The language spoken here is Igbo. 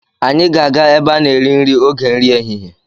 Anyị ga-aga ebe a na-eri nri oge nri ehihie.